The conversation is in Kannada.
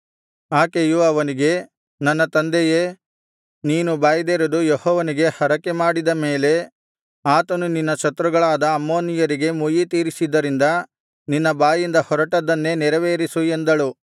ಆಕೆಯು ಅವನಿಗೆ ನನ್ನ ತಂದೆಯೇ ನೀನು ಬಾಯ್ದೆರೆದು ಯೆಹೋವನಿಗೆ ಹರಕೆಮಾಡಿದ ಮೇಲೆ ಆತನು ನಿನ್ನ ಶತ್ರುಗಳಾದ ಅಮ್ಮೋನಿಯರಿಗೆ ಮುಯ್ಯಿತೀರಿಸಿದ್ದರಿಂದ ನಿನ್ನ ಬಾಯಿಂದ ಹೊರಟದ್ದನ್ನೇ ನೆರವೇರಿಸು ಎಂದಳು